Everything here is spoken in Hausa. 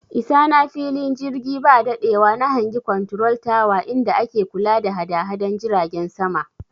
I sa na fili jirgi ba daɗewa na hangi konturol tawa inda ake kula da hadahadan jiragen sama